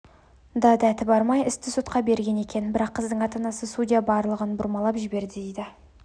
да дәті бармай істі сотқа берген екен бірақ қыздың ата-анасы судья барлығын бұрмалап жіберді дейді